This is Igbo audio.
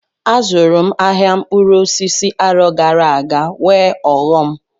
Azụrụ m ahịa mkpụrụ osisi arọ gara aga nwee ọghọm.